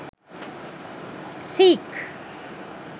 seek